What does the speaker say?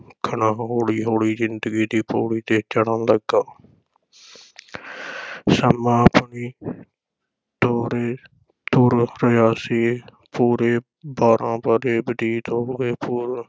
ਹੌਲੀ ਹੌਲੀ ਜ਼ਿੰਦਗੀ ਦੀ ਪੌੜੀ ’ਤੇ ਚੜ੍ਹਨ ਲੱਗਾ ਸਮਾਂ ਆਪਣੀ ਤੋਰੇ ਤੁਰ ਰਿਹਾ ਸੀ, ਪੂਰੇ ਬਾਰਾਂ ਵਰ੍ਹੇ ਬਤੀਤ ਹੋ ਗਏ